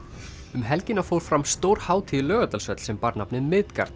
um helgina fór fram stór hátíð í Laugardalshöll sem bar nafnið